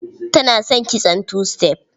Tana son kitson two step.